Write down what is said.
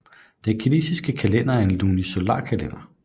Den kinesiske kalender er en lunisolarkalender